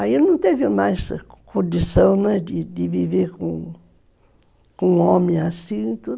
Aí não teve mais condição, né, de de viver com um homem assim.